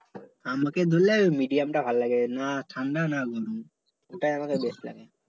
আমাকে ধরলে ওই medium টা ভালো লাগে না ঠাণ্ডা না গরম ওটাই আমাকে বেশ লাগে